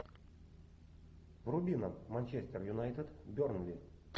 вруби нам манчестер юнайтед бернли